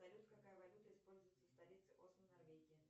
салют какая валюта используется в столице осло норвегии